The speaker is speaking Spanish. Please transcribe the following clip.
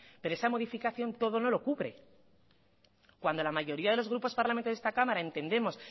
pero esa modificación todo no lo cubre cuando la mayoría de los grupos parlamentarios de esta cámara entendemos